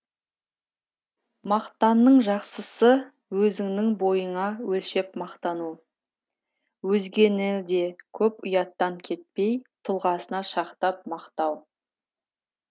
мақтанның жақсысы өзіңнің бойыңа өлшеп мақтану өзгені де көп ұяттан кетпей тұлғасына шақтап мақтау